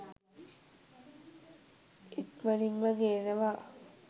ඉක්මනින්ම ගෙනවා